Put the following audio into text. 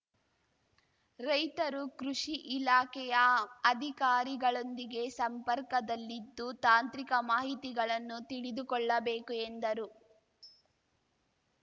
ರೈತರು ಕೃಷಿ ಇಲಾಖೆಯ ಅಧಿಕಾರಿಗಳೊಂದಿಗೆ ಸಂಪರ್ಕದಲ್ಲಿದ್ದು ತಾಂತ್ರಿಕ ಮಾಹಿತಿಗಳನ್ನು ತಿಳಿದುಕೊಳ್ಳಬೇಕು ಎಂದರು